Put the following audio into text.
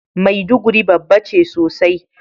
Maiduguri babba ce sosai.